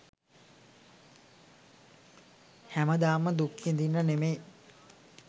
හැමදාම දුක් විදින්න නෙමේ